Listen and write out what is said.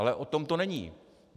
Ale o tom to není.